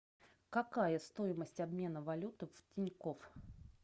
какая стоимость обмена валюты в тинькофф